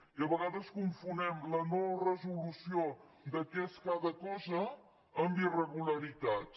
i a vegades confonem la no·resolució de què és cada cosa amb irregularitats